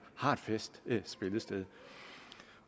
har et fast spillested